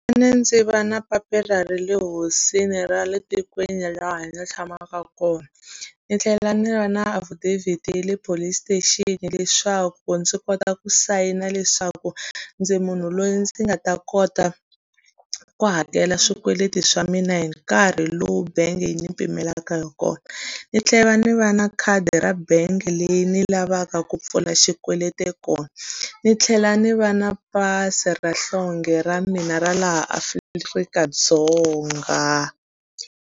Ndzi va na papila ra le hosini ra le tikweni laha ndzi tshamaka kona, ni tlhela ni va na affidavit ya le police station, leswaku ndzi kota ku sayina leswaku ndzi munhu loyi ndzi nga ta kota ku hakela swikweleti swa mina hi nkarhi lowu bangi yi ni pfumelaka hi kona. Ni tlhela ni va na khadi ra bangi leyi ni lavaka ku pfula xikweleti kona, ni tlhela ni va na pasi ra nhlonge ra mina ra laha Afrika-Dzonga.